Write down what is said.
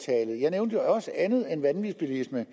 nævnte også andet end vanvidsbilisme